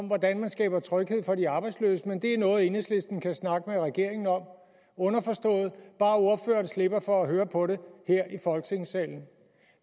hvordan man skaber tryghed for de arbejdsløse men at det er noget enhedslisten kan snakke med regeringen om underforstået bare ordføreren slipper for at høre på det her i folketingssalen